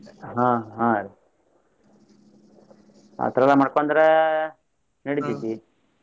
ಅಹ್ ಹಾ ರಿ ಆತರ ಎಲ್ಲ ಮಾಡ್ಕೊಂಡ್ರ ನಡಿತೇತಿ.